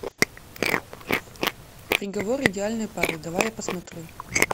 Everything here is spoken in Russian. приговор идеальной пары давай я посмотрю